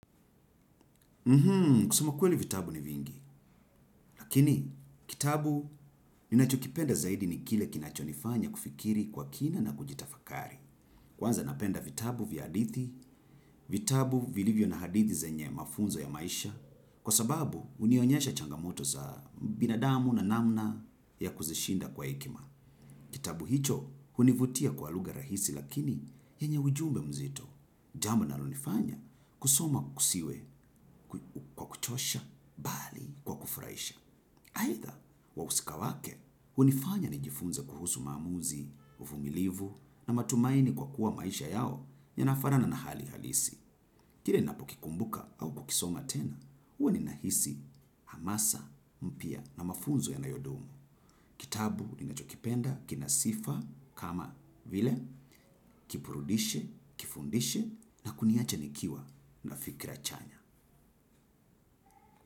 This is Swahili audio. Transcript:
Kusema kweli vitabu ni vingi, lakini kitabu ninachokipenda zaidi ni kile kinachonifanya kufikiri kwa kina na kujitafakari. Kwanza napenda vitabu vya hadithi, vitabu vilivyo na hadithi zenye mafunzo ya maisha, kwa sababu hunionyesha changamoto za binadamu na namna ya kuzishinda kwa hekima. Kitabu hicho hunivutia kwa lugha rahisi lakini yenye ujumbe mzito. Jambo linalonifanya kusoma kusiwe kwa kuchosha bali kwa kufurahisha. Aidha wahusika wake hunifanya nijifunze kuhusu maamuzi, uvumilivu na matumaini kwa kuwa maisha yao yanafanana na hali halisi. Kila ninapokikumbuka au kukisoma tena, huwa ninahisi hamasa mpya na mafunzo yanayodumu. Kitabu ninachokipenda, kina sifa, kama vile, kiburudishe, kifundishe, na kuniacha nikiwa na fikira chanya.